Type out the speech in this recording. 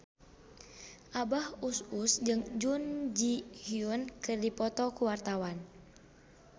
Abah Us Us jeung Jun Ji Hyun keur dipoto ku wartawan